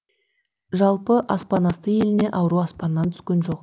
жалпы аспан асты еліне ауру аспаннан түскен жоқ